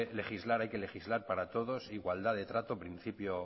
legislar hay que legislar para todos igualdad de trato principio